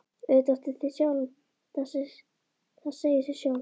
Auðvitað áttu þig sjálf, það segir sig sjálft.